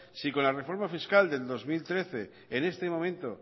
si con la reforma fiscal del dos mil trece en este momento